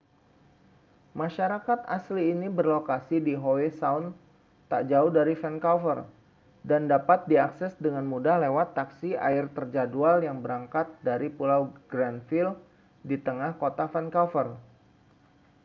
masyarakat asli ini berlokasi di howe sound tak jauh dari vancouver dan dapat diakses dengan mudah lewat taksi air terjadwal yang berangkat dari pulau granville di tengah kota vancouver